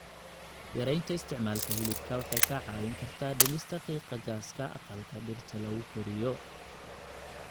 Yaraynta isticmaalka hilibka waxay kaa caawin kartaa dhimista qiiqa gaaska aqalka dhirta lagu koriyo.